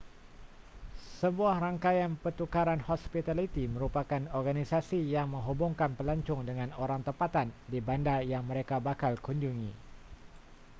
sebuah rangkaian pertukaran hospitaliti merupakan organisasi yang menghubungkan pelancong dengan orang tempatan di bandar yang mereka bakal kunjungi